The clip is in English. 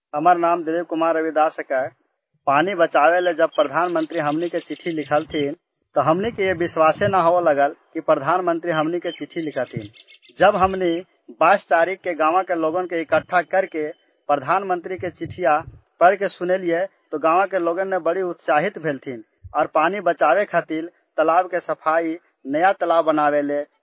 DILIP KUMAR RAVIDAS